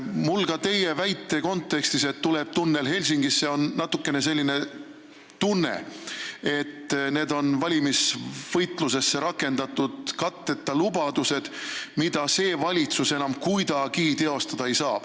Mul on ka teie selle väite kontekstis, et tuleb tunnel Helsingisse, natuke selline tunne, et need on valimisvõitluses rakendatud katteta lubadused, mida see valitsus enam kuidagi teostada ei saa.